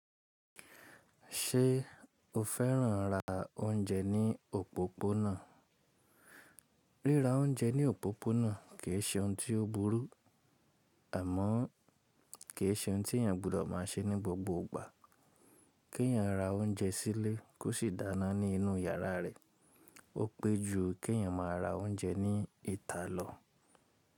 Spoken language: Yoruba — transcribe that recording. Ṣé o fẹ́ràn ra oúnjẹ ní òpópónà? Ríra oúnjẹ ní òpópónà kì í ṣe ohun tí ó burú, àmọ́ kì í ṣe ohun tí èèyàn gbọ́dọ̀ máa ṣe ní gbogbo ìgbà. Kí èèyàn ra oúnjẹ sílé kó sì dáná ní inú yàrá rẹ̀ ó pé ju kí èèyàn máa ra oúnjẹ ní ìta lọ.